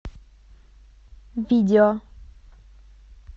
видео